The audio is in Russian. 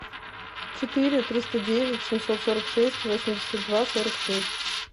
четыре триста девять семьсот сорок шесть восемьдесят два сорок шесть